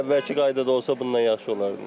Elə əvvəlki qaydada olsa bundan yaxşı olardı.